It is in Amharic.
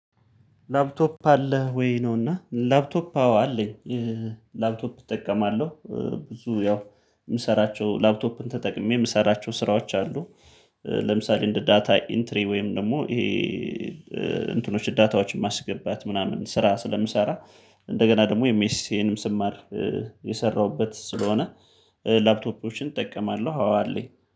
ላፕቶፕ አለህ ወይ? ነውና ላፕቶፕ አዎ አለኝ። ላፕቶፕ እጠቀማለሁ ብዙ ያው የምሰራቸው ላፕቶፕን ተጠቅሜ የምሰራቸው ስራዎች አሉ። ለምሳሌ እንደ ዳታ ኢንትሪ ወይም ደግሞ ይሄ እንትኖች ዳታዎችን ማስገባት ምናምን ስራ ስለምሰራ። እንደገና ደግሞ ኤምኤስሲዬን ስማር የሰራሁበት ስለሆነ። ላፕቶፖችን እጠቀማለሁ አለኝ